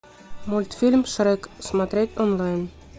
мультфильм шрек смотреть онлайн